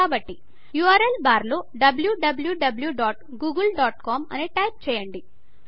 URL బార్లో wwwgooglecom అని type చేయండి